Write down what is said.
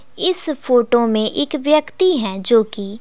इस फोटो में एक व्यक्ति है जोकि--